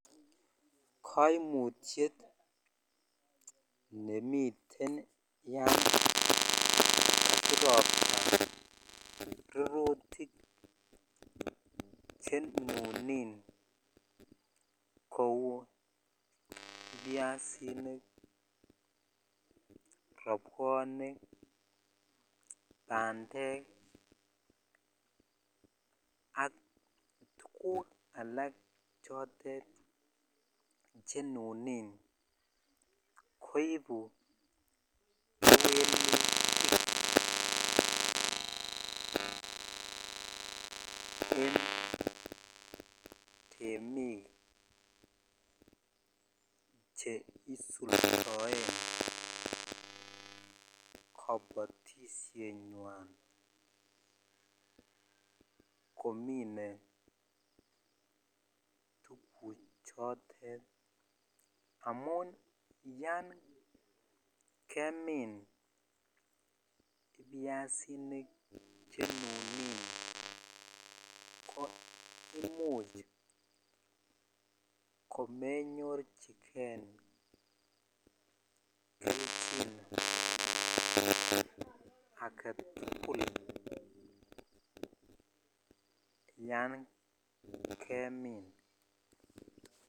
Kaimutyet nemiten yan kakiropta minutik chenuni kou ibyasinik ,roppwonik ,bandek ak tuguk alak chotet chrnunin koibu kewelutik en temik che isuldoen kabatishenywan komine tuk chotet amun ysn kemin ibyasinik chenunin ko imuch komenyorchikei kelchin aketukul yen kemin.